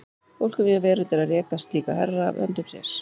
Fólk um víða veröld er að reka slíka herra af höndum sér.